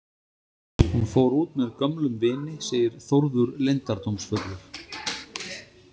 Hún fór út með gömlum vini, segir Þórður leyndardómsfullur.